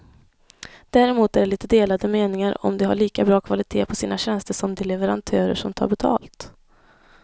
Däremot är det lite delade meningar om de har lika bra kvalitet på sina tjänster som de leverantörer som tar betalt.